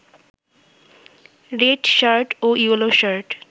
red shirt ও yellow shirt